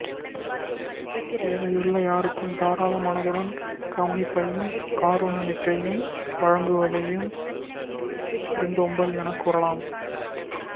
தேவையுள்ள யாருக்கும் தாராள மனத்துடன் கவனிப்பையும் காருண்யத்தையும் வழங்குவதையும் விருந்தோம்பல் எனக் கூறலாம்